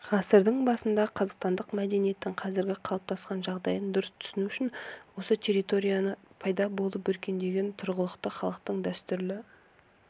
ғасырдың басында қазақстандық мәдениеттің қазіргі қалыптасқан жағдайын дұрыс түсіну үшін осы территорияда пайда болып өркендеген тұрғылықты халықтың дәстүрлі